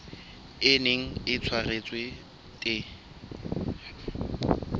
e neng e tshwaretswe the